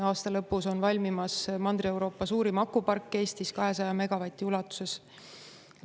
Aasta lõpus on valmimas Mandri-Euroopa suurim akupark Eestis 200 megavati ulatuses.